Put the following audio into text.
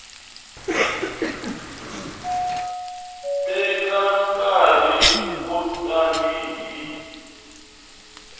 teka nkarhi wo tani hi